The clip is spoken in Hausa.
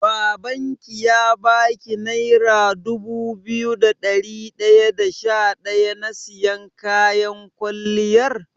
Babanki ya baki naira dubu biyu da dari daya da sha daya na siyan kayan kwalliyar?